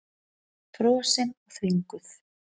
Frosin og þvinguð.